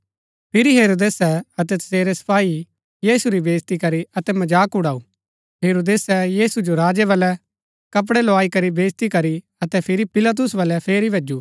फिरी हेरोदेसै अतै तसेरै सपाई यीशु री बेईज्ती करी अतै मजाक उड़ाऊ हेरोदेसै यीशु जो राजै बाळै कपड़ै लोआई करी बेईज्जती करी अतै फिरी पिलातुस बलै फेरी भैजू